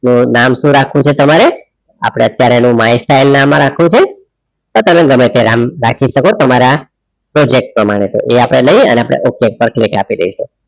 નામ હું રાખવું છે તમારે અપડે અત્યરેહ mysell નામ રાખવું છે કે તમે ગમેતે નામ રાખી સકો તમારા પ્રોજેકટ પ્રમાણે છે આ અપડે લઈએ અને okay પર click આપી દઈએ